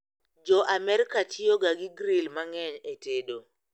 Jo Amerka tiyo ga gi gril mang'eny e tedo